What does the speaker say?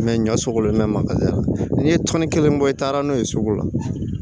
ɲɔ sugu len mɛ magaya n'i ye tɔni kelen bɔ i taara n'o ye sugu la